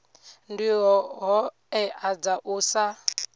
ndi hoea dza u sa